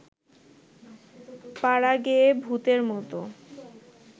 পাড়াগেঁয়ে ভূতের মত